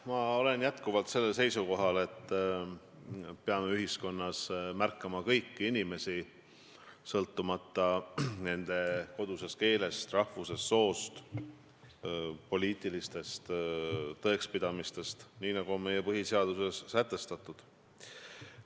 Ma olen jätkuvalt seisukohal, et ühiskonnas peab märkama kõiki inimesi, sõltumata nende kodusest keelest, rahvusest, soost, poliitilistest tõekspidamistest, nii nagu on meie põhiseaduses ka sätestatud.